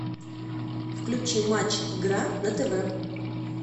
включи матч игра на тв